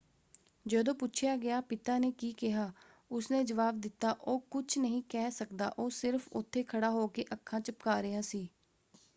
ਜਦੋਂ ਪੁੱਛਿਆ ਗਿਆ ਪਿਤਾ ਨੇ ਕੀ ਕਿਹਾ ਉਸਨੇ ਜਵਾਬ ਦਿੱਤਾ ਉਹ ਕੁਝ ਨਹੀਂ ਕਹਿ ਸਕਦਾ - ਉਹ ਸਿਰਫ਼ ਉੱਥੇ ਖੜ੍ਹਾ ਹੋ ਕੇ ਅੱਖਾਂ ਝੱਪਕਾਂ ਰਿਹਾ ਸੀ।